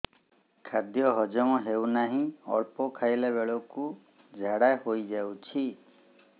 ଖାଦ୍ୟ ହଜମ ହେଉ ନାହିଁ ଅଳ୍ପ ଖାଇଲା ବେଳକୁ ଝାଡ଼ା ହୋଇଯାଉଛି